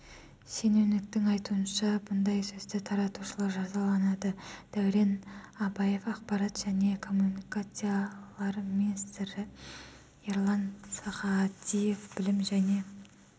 шенеуніктің айтуынша бұндай сөзді таратушылар жазаланады дәурен абаев ақпарат және коммуникациялар министрі ерлан сағадиев білім және